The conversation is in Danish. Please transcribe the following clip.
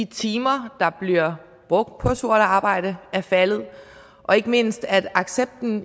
timer der bliver brugt på sort arbejde er faldet og ikke mindst at accepten